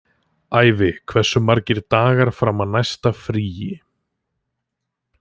Ævi, hversu margir dagar fram að næsta fríi?